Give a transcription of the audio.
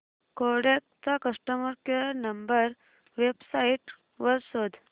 Kodak चा customer care number website वर शोध